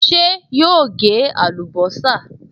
Ṣé yóò gé àlùbọ́sà?